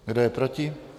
Kdo je proti?